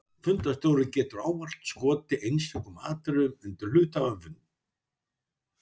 Fundarstjóri getur ávallt skotið einstökum atriðum undir álit hluthafafundar.